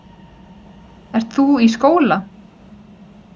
Ert þú í skóla?